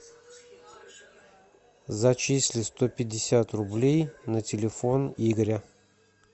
зачисли сто пятьдесят рублей на телефон игоря